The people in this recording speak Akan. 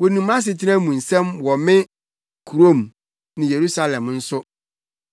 Wonim mʼasetena mu nsɛm wɔ me kurom ne Yerusalem nso.